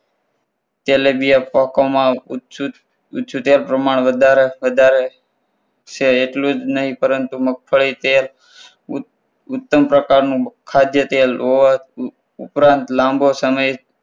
તેલેબિયા પોકોમાં છુટ્યા પ્રમાણ પ્રમાણમાં વધારો એટલું જ નહીં પરંતુ મગફળી તેલ ઉત્તમ પ્રકારનું ખાધ્યતેલ હોવાથી ઉપરાંત લાંબો સમય તેલ